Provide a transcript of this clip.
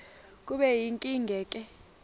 kube yinkinge ke